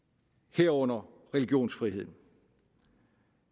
herunder religionsfriheden